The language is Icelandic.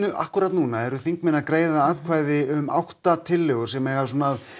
akkúrat núna eru þingmenn að greiða atkvæði um átta tillögur sem eiga að